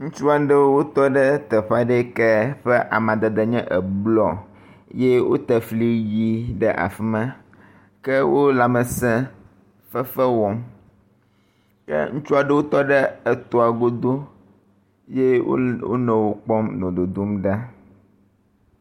Ŋutsu aɖewo wotɔ ɖe teƒe aɖe yike ƒe amadede nye eblɔ eye wote fli ʋi ɖe afi ma ke wo lãmese fefe wɔm. ke ŋutsu aɖewo tɔ ɖe etoa godo eye wonɔ wo kpɔm nɔ dodom ɖa.